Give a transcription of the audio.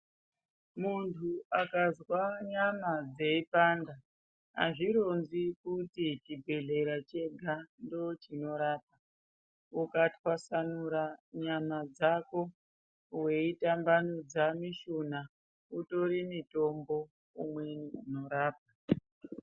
Muntu akazwa nyama dzeipanda azvironzi kuti chibhedhleya chega ndicho chinorapa. Ukatwasanura nyama dzako weitambanudza mushuna. Utori mutombo umweni unorapa.